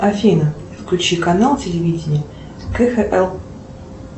афина включи канал телевидения кхл